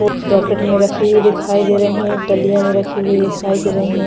Bucket में रखी हुई दिखाई दे रही है डालिये में रखी हुई दिखाई दे रही है।